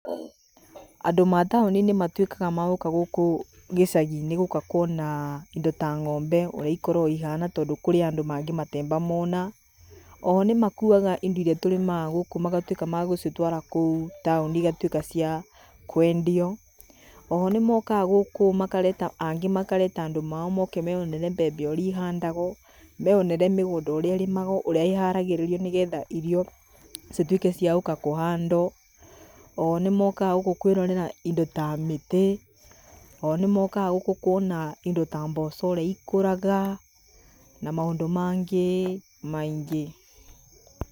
Andũ mataũni nĩmatuĩkaga magũka gũkũ gĩcagi-inĩ gũka kwona indo ta ng'ombe ũrĩa ikoragwo ihana tondũ kũrĩ andũ matemba mona. Oho nĩmakuaga indo iria tũrĩmaga gũkũ magatuĩk magũcitwara kũu taũni igatuĩka cia kwendio. Oho nĩmokaga gũkũ makareta angĩ makareta mandũ mao moke meyonere mbembe ũrĩa ihandagwo, meyonere mĩgũnda ũrĩa ĩrĩmagwo ũrĩa ĩharagĩrĩrio nĩgetha irio ituĩke cia kũnandwo. Ohonĩmokaga gũkũ kwĩrorera indo ta mĩtĩ. Ohonĩmokaga gũkũ kwona indo ta mboco ũrĩa ikũraga na maũndũ mangĩ maingĩ